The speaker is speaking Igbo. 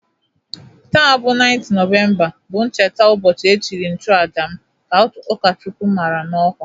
Taa bụ 9th Nọvemba, bụ ncheta ụbọchị echiri nchuaja m, ka ụkọchukwu mara n'ọkwa